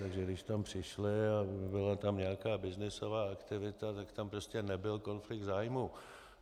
Takže když tam přišli a byla ta nějaká byznysová aktivita, tak tam prostě nebyl konflikt zájmů.